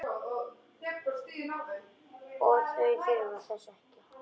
En þau þurfa þess ekki.